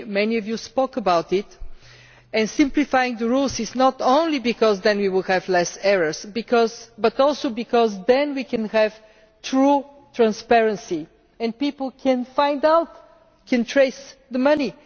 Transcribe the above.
Many of you spoke about this. Simplifying the rules is necessary not only because then we will have fewer errors but also because then we can have true transparency and people can find out and trace the money.